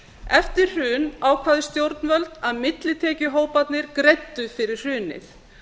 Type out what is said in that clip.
eftir hrun ákváðu stjórnvöld að millitekjuhóparnir greiddu fyrir hrunið